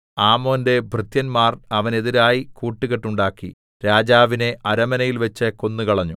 ആമോന്റെ ഭൃത്യന്മാർ അവനെതിരായി കൂട്ടുകെട്ടുണ്ടാക്കി രാജാവിനെ അരമനയിൽവെച്ച് കൊന്നുകളഞ്ഞു